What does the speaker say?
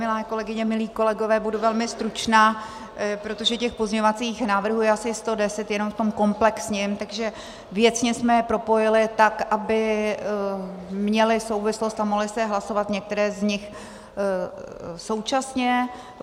Milé kolegyně, milí kolegové, budu velmi stručná, protože těch pozměňovacích návrhů je asi 110 jenom v tom komplexním, takže věcně jsme je propojili tak, aby měly souvislost a mohly se hlasovat některé z nich současně.